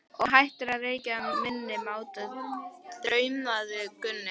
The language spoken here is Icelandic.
Og hættir að hrekkja minni máttar, þrumaði Gunni.